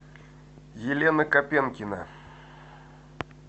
елена копенкина